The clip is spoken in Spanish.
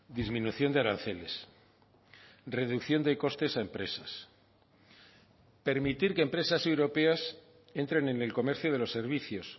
disminución de aranceles reducción de costes a empresas permitir que empresas europeas entren en el comercio de los servicios